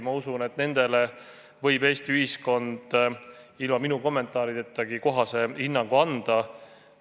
Ma usun, et nendele võib Eesti ühiskond ilma minu kommentaaridetagi kohase hinnangu anda.